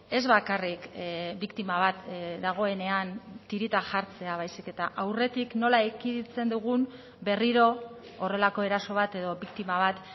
ez bakarrik biktima bat dagoenean tirita jartzea baizik eta aurretik nola ekiditen dugun berriro horrelako eraso bat edo biktima bat